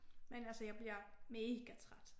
Men altså jeg bliver mega træt